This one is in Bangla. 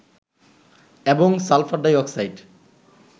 এবং সালফার ডাইঅক্সাইড